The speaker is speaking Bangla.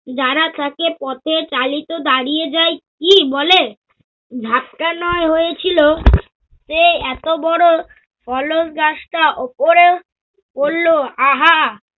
যারা থাকে পথে চালিত দাঁড়িয়ে যাই কি বলে? ঝাঁপটা নয় হয়েছিল সে এত বড় পলক রাস্তা ওপরে পড়ল, আহা!